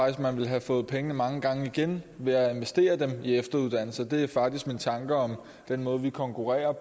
at man ville have fået pengene mange gange igen ved at investere dem i efteruddannelse det er faktisk min tanke om den måde vi konkurrerer